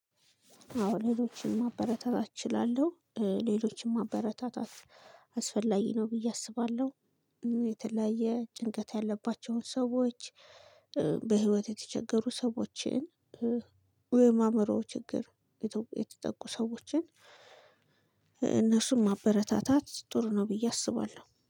አዎ ሌሎችን ማበረታታት እችላለሁ እ ሌሎችን ማበረታታት አስፈላጊ ነው ብዬ አስባለሁ። እ የተለያየ ጭንቀት ያለባቸውን ሰዎች እ በህይወት የተቸገሩ ሰዎችን እ ወይም አእምሮ ችግር የተጠቁ ሰዎችን። እነሱም ማበረታታት ጥሩ ነው ብዬ አስባለሁ